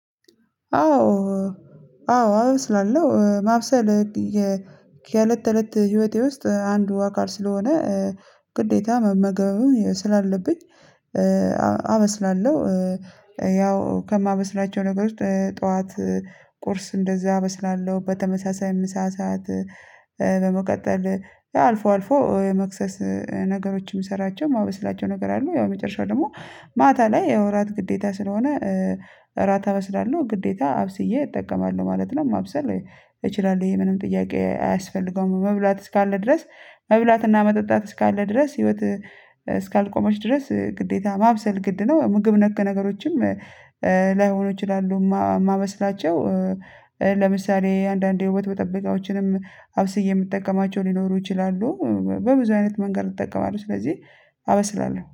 አዎ አዎ አበስላለሁ ማብሰል የህእለት ተእለት ህይወቴ ውስጥ አንዱ አካል ስለሆነ ግዴታ መመገብም ስላለብኝ አመስላለሁ። ያው ከማበስላቸው ነገሮች ጠዋት ቁርስ እንደዛ አበስላለሁ በተመሳሳይ ምሳ ሰዓት በመቀጠል አልፎ አልፎ የመክሰስ ነገሮችን የምሰራቸው ማበስላቸው ነገር አሉ ያው መጨረሻው ደግሞ ማታ ላይ ያው እራት ግዴታ ስለሆነ እራት አበስላለሁ ግዴታ አብስዬ እጠቀማለሁ ማለት ነው። ማብሰል እችላለሁ ይሄ ምንም ጥያቄ አያስፈልገውም መብላት እስካለ ድረስ መብላትና መጠጣት እስካለ ድረስ ህይወት እስካልቆመች ድረስ ግዴታ ማብሰል ግድ ነው። ምግብ ነክ ነገሮችም ላይሆኑ ይችላሉ የማመስላቸው። ለምሳሌ አንዳንዴ የውበት በጠበቃዎችንም አብስዬ የምጠቀማቸው ሊኖሩ ይችላሉ በብዙ አይነት መንገድ እጠቀማለሁ ስለዚህ አበስላለሁ